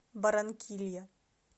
барранкилья